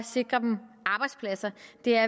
det er